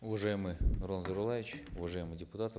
уважаемый нурлан зайроллаевич уважаемые депутаты